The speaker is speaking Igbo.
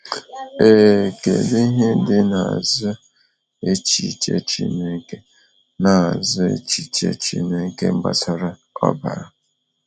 Ee, kedu ihe dị n’azụ echiche Chineke n’azụ echiche Chineke gbasara ọbara?